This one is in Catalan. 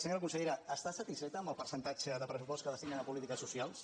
senyora consellera està satisfeta amb el percentatge de pressupost que destinen a polítiques socials